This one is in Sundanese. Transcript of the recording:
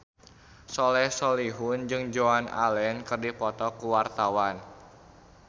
Soleh Solihun jeung Joan Allen keur dipoto ku wartawan